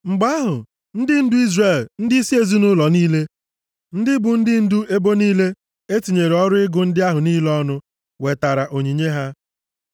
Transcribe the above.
Mgbe ahụ, ndị ndu Izrel, ndịisi ezinaụlọ niile, ndị bụ ndị ndu ebo niile e tinyere ọrụ ịgụ ndị ahụ niile ọnụ wetara onyinye ha.